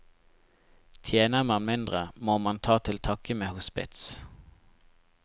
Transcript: Tjener man mindre, må man ta til takke med hospits.